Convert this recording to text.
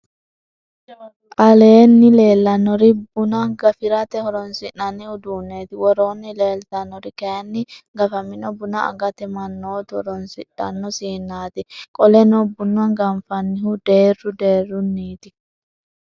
aleenni leellanori buna gafirate horronsi'nanni uduuneeti. woroonni leeltannori kayinni gafamino buna agate mannootu horroonsidhanno siinaati. qoleno buna ganfannihu deerru deerruniiti.